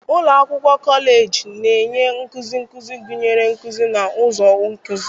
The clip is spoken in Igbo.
Ụlọ akwụkwọ kọleji na-enye nkuzi nkuzi, gụnyere nkuzi na ụzọ nkuzi.